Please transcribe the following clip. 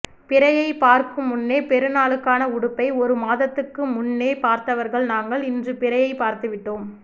பிறையை பார்க்கும் முன்னே பெருநாளுக்கான உடுப்பை ஒரு மாதத்துக்கு முன்னே பார்த்தவர்கள் நாங்கள் இன்று பிறையை பார்த்து விட்டோம்